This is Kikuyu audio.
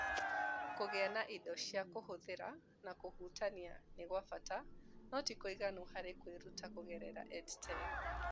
Kũgĩa na indo cia kũhũthĩra na kũhutania nĩ kwa bata no ti kũiganu harĩ kwĩruta kũgerera EdTech.